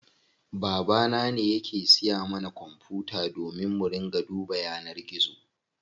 Baba na ne yake siya mana kwanfuta domin mu ringa duba yanar gizo.